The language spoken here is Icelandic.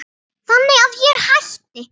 Þannig að ég hætti.